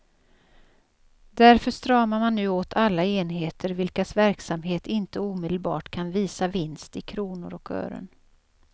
Därför stramar man nu åt alla enheter vilkas verksamhet inte omedelbart kan visa vinst i kronor och ören.